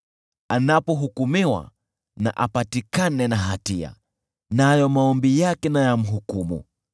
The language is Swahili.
Anapohukumiwa, apatikane na hatia, nayo maombi yake yamhukumu.